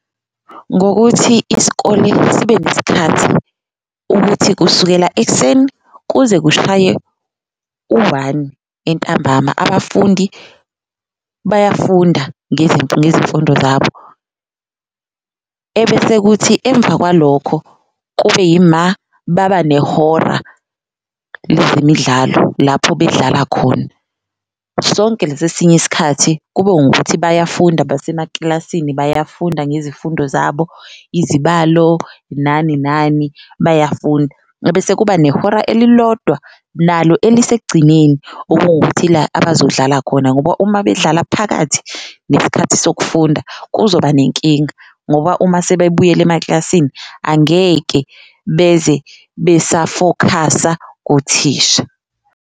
Ngokuthi isikole sibe nesikhathi ukuthi kusukela ekuseni kuze kushaye u-one entambama abafundi bayafunda ngezemfundo zabo, ebese kuthi emva kwalokho kube yima baba nehora lezemidlalo lapho bedlala khona. Sonke lesi esinye isikhathi kube ngukuthi bayafunda basemakilasini bayafunda ngezifundo zabo, izibalo nani nani bayafunda. Ebese kuba nehora elilodwa nalo elisekugcineni okuwukuthi ila abazodlala khona ngoba uma bedlala phakathi nesikhathi sokufunda kuzoba nenkinga, ngoba uma sebebuyela emaklasini angeke beze besafokhasa kuthisha.